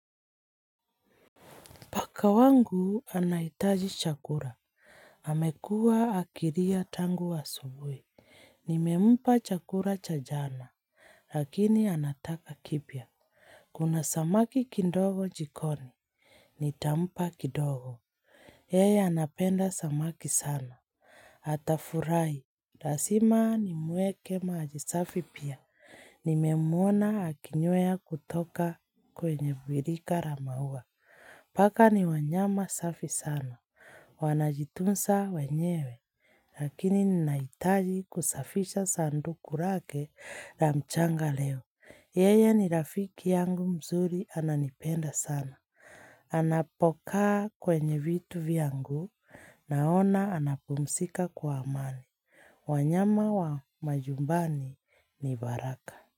Paka wangu anaitaji chakula. Amekuwa akilia tangu asubui. Nimempa chakula cha jana. Lakini anataka kipya. Kuna samaki kidongo jikoni. Nitampa kidogo. Yeye anapenda samaki sana. AtafuraHi. Lazima nimwekee maji safi pia. Nimemwona akinywea kutoka kwenye birika la maua. Paka ni wanyama safi sana. Wanajitunza wenyewe. Lakini ninahitaji kusafisha sanduku lake na mchanga leo. Yeye ni rafiki yangu mzuri ananipenda sana. Anapokaa kwenye vitu vyangu naona anapumzika kwa amani. Wanyama wa majumbani ni baraka.